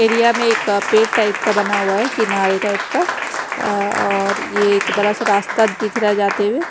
area में एक पेड़ टाइप का बना हुआ है किनारे टाइप का अ और यह एक बड़ा सा रास्ता दिख रहा है जाते हुए--